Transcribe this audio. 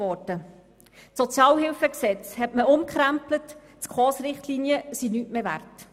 Das Sozialhilfegesetz (SHG) wurde umgekrempelt und die SKOS-Richtlinien sind nichts mehr wert.